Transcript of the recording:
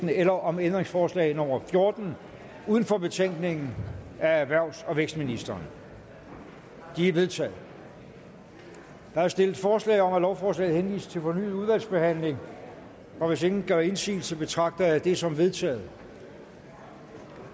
eller om ændringsforslag nummer fjorten uden for betænkningen af erhvervs og vækstministeren de er vedtaget der er stillet forslag om at lovforslaget henvises til fornyet udvalgsbehandling og hvis ingen gør indsigelse betragter jeg det som vedtaget